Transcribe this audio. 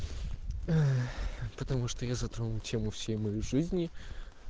потому что я завтра на тему всей моей жизни